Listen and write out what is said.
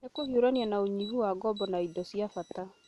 nĩ kũhiũrania na ũnyihu wa ngombo na indo cia bata